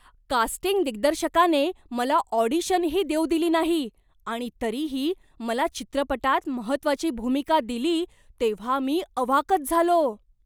Casting दिग्दर्शकाने मला ऑडिशनही देऊ दिली नाही आणि तरीही मला चित्रपटात महत्त्वाची भूमिका दिली तेव्हा मी अवाकच झालो.